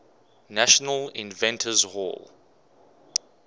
national inventors hall